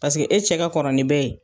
Paseke e cɛ ka kɔrɔ ni bɛɛ ye.